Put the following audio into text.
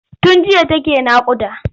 Tun jiya take naƙuda.